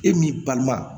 E m'i balima